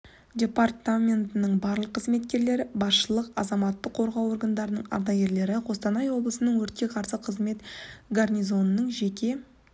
департаментінің барлық қызметкерлері басшылық азаматтық қорғау органдарының ардагерлері қостанай облысының өртке қарсы қызмет гарнизонының жеке